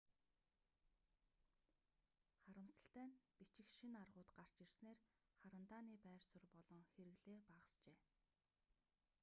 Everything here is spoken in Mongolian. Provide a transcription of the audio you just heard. харамсалтай нь бичих шинэ аргууд гарч ирснээр харандааны байр суурь болон хэрэглээ багасжээ